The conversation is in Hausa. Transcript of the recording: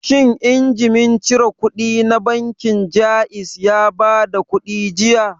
Shin injimin cire kuɗi na bankin Jaiz ya bada kuɗi jiya?